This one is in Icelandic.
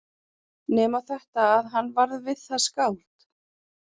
Nema þetta að hann varð við það skáld.